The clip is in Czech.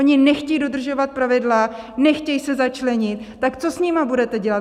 Oni nechtějí dodržovat pravidla, nechtějí se začlenit, tak co s nimi budete dělat?